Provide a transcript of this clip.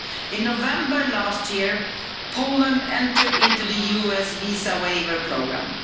In November last year, Poland entered the US visa waiver programme.